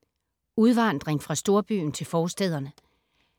Udvandring fra storbyen til forstæderne